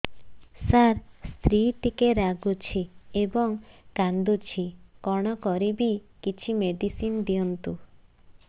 ସାର ସ୍ତ୍ରୀ ଟିକେ ରାଗୁଛି ଏବଂ କାନ୍ଦୁଛି କଣ କରିବି କିଛି ମେଡିସିନ ଦିଅନ୍ତୁ